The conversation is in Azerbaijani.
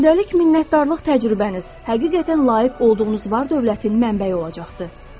Gündəlik minnətdarlıq təcrübəniz həqiqətən layiq olduğunuz var-dövlətin mənbəyi olacaqdır.